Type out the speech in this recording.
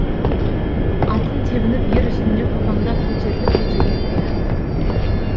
атын тебініп ер үстінде қопаңдап көтеріліп көтеріліп қояды